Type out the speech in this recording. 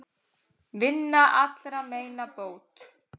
Vinnan allra meina bót.